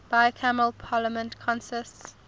bicameral parliament consists